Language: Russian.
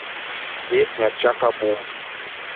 песня чака бум